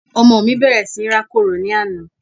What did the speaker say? ọmọ mí bẹ̀rẹ̀ sí rákòrò ní àná